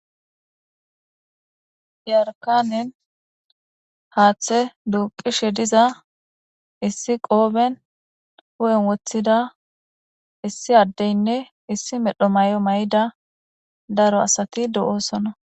yarkanen haaththe duuqishe diza issi qooben hu7en woththida issi addeynne issi medho may7o may7ida daro asati do7oosona